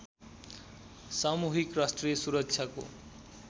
सामूहिक राष्ट्रिय सुरक्षाको